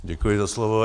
Děkuji za slovo.